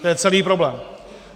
To je celý problém.